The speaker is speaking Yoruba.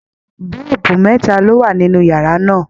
Boolubu mẹta lo wà nínú yàrá náà.